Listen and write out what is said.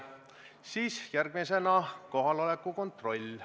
Siis on järgmisena kohaloleku kontroll.